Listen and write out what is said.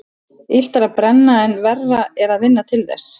Illt er að brenna en verra er að vinna til þess.